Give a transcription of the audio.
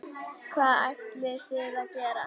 Hvað ætlið þið að gera?